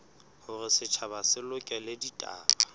hore setjhaba se lekole ditaba